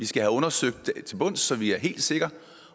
skal undersøges så vi er helt sikre